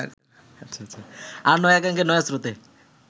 আর নয়া গাঙের নয়া স্রোতে